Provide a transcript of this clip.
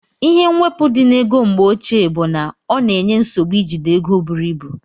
Ihe mwepu di na ego mgbeoche bu na ọna enye nsogbu ijide ego buru ibụ.